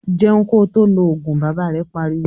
"Jẹun ko tó lọ Ògùn!",Bàbá rẹ̀ pariwo